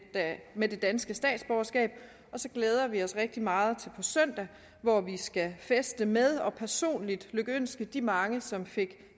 med det danske statsborgerskab og så glæder vi os rigtig meget til på søndag hvor vi skal feste med og personligt lykønske de mange som fik